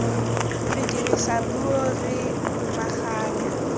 re dirisa puo re lomaganya